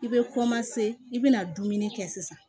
I bɛ i bɛna dumuni kɛ sisan